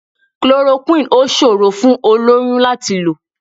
Chloroquine ò ṣòrò fún olóyún láti lò.